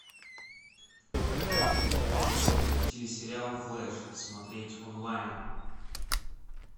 телесериал флэш смотреть онлайн